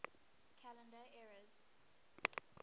calendar eras